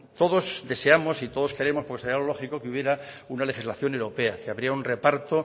todos deseamos y todos queremos porque sería lo lógico que hubiera una legislación europea que habría un reparto